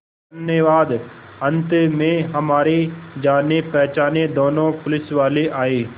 धन्यवाद अंत में हमारे जानेपहचाने दोनों पुलिसवाले आए